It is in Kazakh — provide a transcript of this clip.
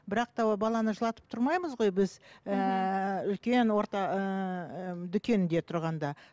бірақ та ол баланы жылатып тұрмаймыз ғой біз ыыы мхм үлкен орта ыыы дүкенде тұрғанда